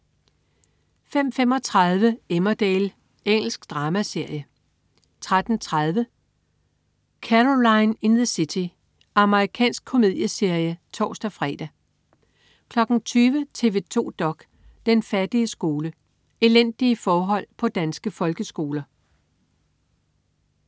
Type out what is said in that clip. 05.35 Emmerdale. Engelsk dramaserie 13.30 Caroline in the City. Amerikansk komedieserie (tors-fre) 20.00 TV 2 dok.: Den fattige skole. Elendige forhold på danske folkeskoler